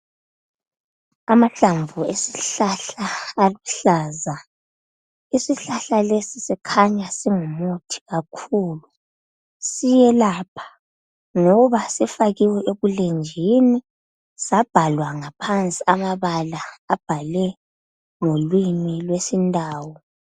Amahlamvu esihlahla aluhlaza isihlahla lesi sikhanya singumuthi kakhulu siyelapha ngoba sifakiwe ebulenjini sabhalwa ngaphansi amabala abhalwe ngolimi lwesi ndau.